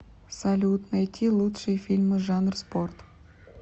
салют найти лучшие фильмы жанр спорт